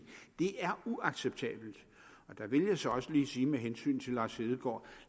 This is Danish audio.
det er uacceptabelt der vil jeg så også lige sige med hensyn til lars hedegaard